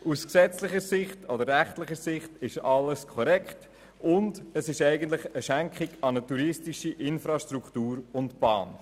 Aus gesetzlicher oder rechtlicher Sicht ist alles korrekt, und es handelt sich eigentlich um eine Schenkung an eine touristische Infrastruktur und Bahn.